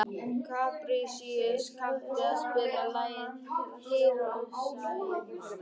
Kaprasíus, kanntu að spila lagið „Hiroshima“?